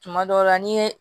Tuma dɔw la n'i ye